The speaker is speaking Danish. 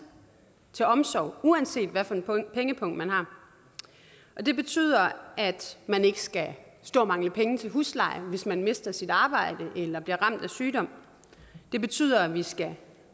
til omsorg uanset hvilken pengepung man har det betyder at man ikke skal stå og mangle penge til husleje hvis man mister sit arbejde eller bliver ramt af sygdom det betyder at vi skal